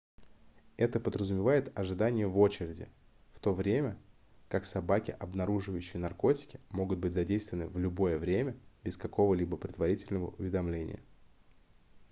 это подразумевает ожидание в очереди в то время как собаки обнаруживающие наркотики могут быть задействованы в любое время без какого-либо предварительного уведомления